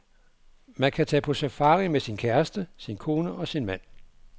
Man kan tage på safari med sin, kæreste sin kone og sin mand.